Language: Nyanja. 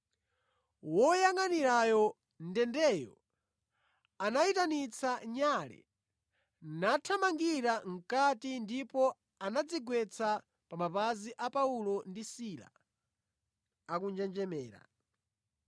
Woyangʼanira ndendeyo anayitanitsa nyale, nathamangira mʼkati ndipo anadzigwetsa pa mapazi a Paulo ndi Sila akunjenjemera.